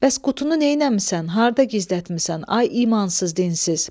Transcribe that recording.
Bəs qutunu neyləmisən, harda gizlətmisən, ay imansız dinsiz?